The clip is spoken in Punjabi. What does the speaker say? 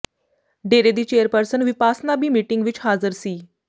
ਡੇਰੇ ਦੀ ਚੇਅਰਪਰਸਨ ਵਿਪਾਸਨਾ ਵੀ ਮੀਟਿੰਗ ਵਿੱਚ ਹਾਜ਼ਰ ਸੀ